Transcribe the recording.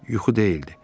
Yuxu deyildi.